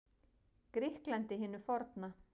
Grikklandi hinu forna.